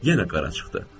Yenə qara çıxdı.